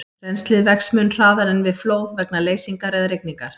Rennslið vex mun hraðar en við flóð vegna leysingar eða rigningar.